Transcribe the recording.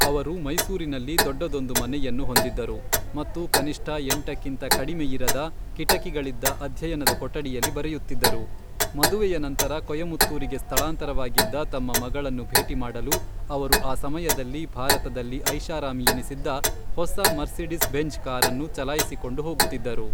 ಅವರು ಮೈಸೂರಿನಲ್ಲಿ ದೊಡ್ಡದೊಂದು ಮನೆಯನ್ನು ಹೊಂದಿದ್ದರು ಮತ್ತು ಕನಿಷ್ಠ ಎಂಟಕ್ಕಿಂತ ಕಡಿಮೆಯಿರದ ಕಿಟಕಿಗಳಿದ್ದ ಅಧ್ಯಯನ ಕೊಠಡಿಯಲ್ಲಿ ಬರೆಯುತ್ತಿದ್ದರು, ಮದುವೆಯ ನಂತರ ಕೊಯಮತ್ತೂರಿಗೆ ಸ್ಥಳಾಂತರವಾಗಿದ್ದ ತಮ್ಮ ಮಗಳನ್ನು ಭೇಟಿ ಮಾಡಲು ಅವರು ಆ ಸಮಯದಲ್ಲಿ ಭಾರತದಲ್ಲಿ ಐಷಾರಾಮಿಯೆನಿಸಿದ್ದ ಹೊಸ ಮರ್ಸಿಡಿಸ್ ಬೆಂಝ್ ಕಾರನ್ನು ಚಲಾಯಿಸಿಕೊಂಡು ಹೋಗುತ್ತಿದ್ದರು.